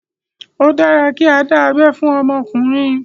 Ó dára kí á dá abé fún ọmọkùnrin.